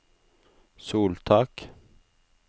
soltak